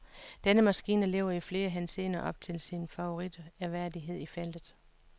Denne maskine lever i flere henseender op til sin favoritværdighed i feltet.